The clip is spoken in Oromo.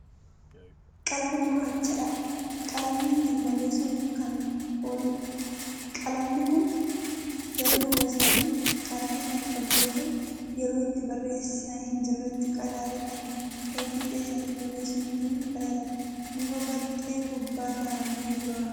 Qalama gurraachadha qalamni ittiin barreessuuf Kan ooludha. qalamni Kuni gara duuba isaatiin qadaada Kan qabi yoo ta'u yeroo itti barreessaa hin jirreetti qadaada Kan gara fiixeen ittiin barreessinuutiin qadaaddama. muka baxxee gubbaa kaa'amee Jira.